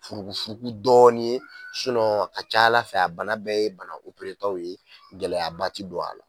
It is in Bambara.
Furukufuruku dɔɔni ye a ka ca Ala fɛ a bana bɛɛ ye bana taw ye gɛlɛya ba ti don a la.